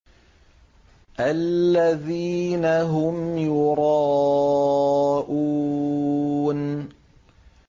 الَّذِينَ هُمْ يُرَاءُونَ